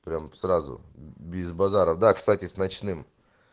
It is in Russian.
прямо сразу без базара да кстати с ночным